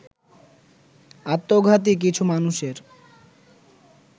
আত্মঘাতী কিছু মানুষের